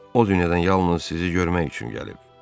O dünyadan yalnız sizi görmək üçün gəlib.